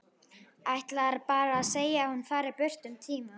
Ætlar bara að segja að hún fari burt um tíma.